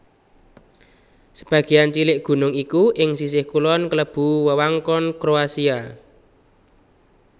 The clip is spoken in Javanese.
Sebagéan cilik gunung iki ing sisih kulon klebu wewengkon Kroasia